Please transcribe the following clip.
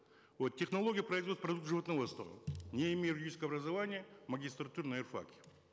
вот технология производства продуктов животноводства не имея юридического образования в магистратуре на юр факе